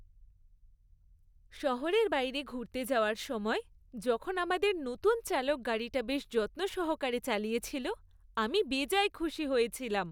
শহরের বাইরে ঘুরতে যাওয়ার সময় যখন আমাদের নতুন চালক গাড়িটা বেশ যত্ন সহকারে চালিয়েছিল, আমি বেজায় খুশি হয়েছিলাম।